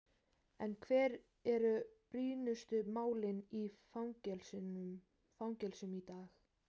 En hver eru brýnustu málin í fangelsum í dag?